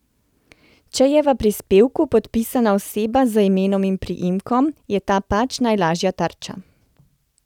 Če je v prispevku podpisana oseba z imenom in priimkom, je ta pač najlažja tarča.